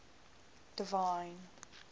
divine